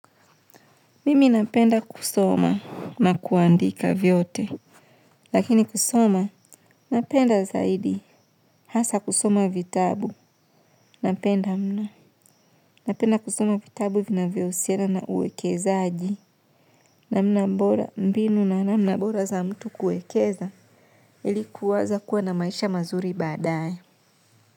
Mimi napenda kusoma na kuandika vyote. Lakini kusoma napenda zaidi hasa kusoma vitabu. Napenda mno. Napenda kusoma vitabu vinavyohusiana na uwekezaji. Namna bora mbinu na namna bora za mtu kuekeza ili kuwaza kuwa na maisha mazuri baadaye.